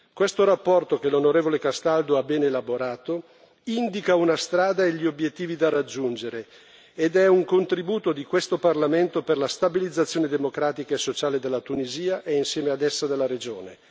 Questa relazione, che l'onorevole Castaldo ha ben elaborato, indica una strada e gli obiettivi da raggiungere ed è un contributo di questo Parlamento per la stabilizzazione democratica e sociale della Tunisia e insieme ad essa della regione.